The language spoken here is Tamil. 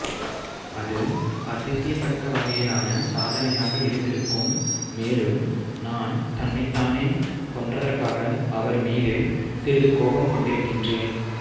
அது அதிசயத்தக்க வகையிலான சாதனையாக இருந்திருக்கும் மேலும் நான் தன்னைத் தானே கொன்றதற்காக அவர் மீது சிறிது கோபம் கொண்டிருக்கிறேன்